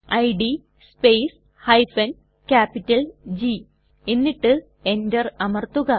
id space G എന്നിട്ട് Enter അമർത്തുക